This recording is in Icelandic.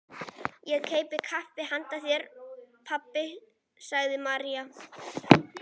Ég keypti kaffi handa þér, pabbi, sagði María.